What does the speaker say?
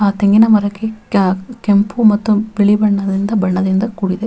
ಆ ತೆಂಗಿನ ಮರಕ್ಕೆ ಕ ಕೆಂಪು ಮತ್ತು ಬಿಳಿ ಬಣ್ಣದಿಂದ ಬಣ್ಣದಿಂದ ಕೂಡಿದೆ.